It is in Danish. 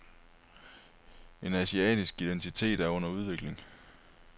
En asiatisk identitet er under udvikling.